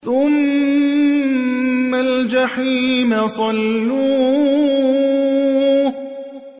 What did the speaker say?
ثُمَّ الْجَحِيمَ صَلُّوهُ